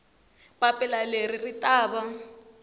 papila leri ri ta va